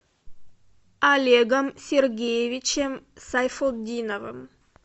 олегом сергеевичем сайфутдиновым